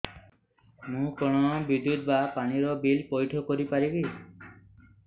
ମୁ କଣ ବିଦ୍ୟୁତ ବା ପାଣି ର ବିଲ ପଇଠ କରି ପାରିବି